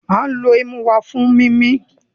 Our nose is used for breathing